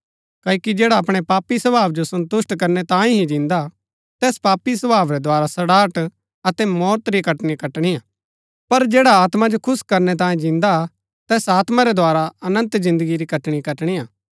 क्ओकि जैडा अपणै पापी स्वभाव जो सन्तुष्‍ट करनै तांये ही जिन्दा हा तैस पापी स्वभाव रै द्धारा सड़ाहट अतै मौत री कटनी कटणिआ पर जैड़ा आत्मा जो खुश करनै तांये जिन्दा हा तैस आत्मा रै द्धारा अनन्त जिन्दगी री कटनी कटणिआ